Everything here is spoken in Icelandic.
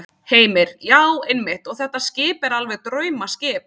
Heimir: Já, einmitt og þetta skip er alveg draumaskip?